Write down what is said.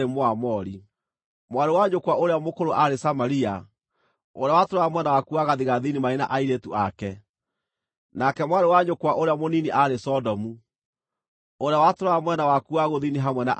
Mwarĩ wa nyũkwa ũrĩa mũkũrũ aarĩ Samaria ũrĩa watũũraga mwena waku wa gathigathini marĩ na airĩtu ake; nake mwarĩ wa nyũkwa ũrĩa mũnini aarĩ Sodomu, ũrĩa watũũraga mwena waku wa gũthini hamwe na airĩtu ake.